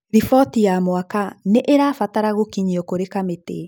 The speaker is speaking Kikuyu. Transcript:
Riboti ya mwaka nĩ ĩrabatara gũkinyua kũrĩ kamĩtĩ.